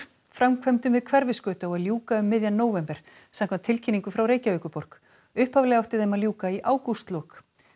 framkvæmdum við Hverfisgötu á að ljúka um miðjan nóvember samkvæmt tilkynningu frá Reykjavíkurborg upphaflega átti þeim að ljúka í ágústlok